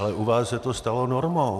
Ale u vás se to stalo normou.